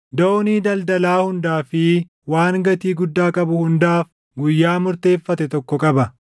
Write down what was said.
doonii daldalaa hundaa fi waan gatii guddaa qabu hundaaf guyyaa murteeffate tokko qaba.